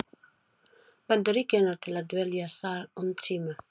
Bandaríkjanna til að dvelja þar um tíma.